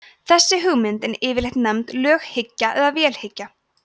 þessi hugmynd er yfirleitt nefnd löghyggja eða vélhyggja